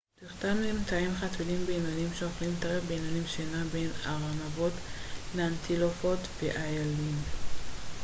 תחתם נמצאים חתולים בינוניים שאוכלים טרף בינוני שנע בין ארנבות לאנטילופות ואיילים